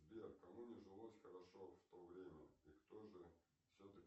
сбер кому не жилось хорошо в то время и кто же все таки